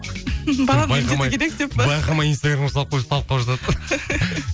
байқамай инстаграмға салып қойып ұсталып қалып жатады